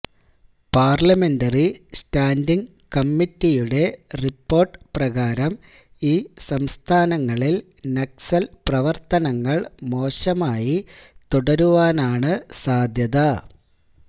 parliamentary standing കമ്മറ്റിയുടെ report പ്രകാരം ഈ സംസ്ഥാനങ്ങളില് നക്സല് പ്രവര്ത്തനങ്ങള് മോശമായി തുടരുവാനാണ് സാധ്യത